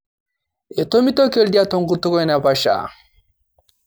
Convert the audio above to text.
etomitioki oldia tenkutuk enaiposha